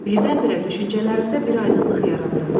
Birdən-birə düşüncələrində bir aydınlıq yarandı.